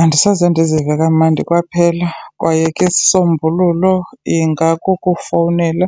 Andisoze ndizive kamandi kwaphela kwaye ke isisombululo ingakukufowunela